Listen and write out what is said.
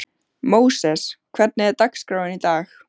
Móses, hvernig er dagskráin í dag?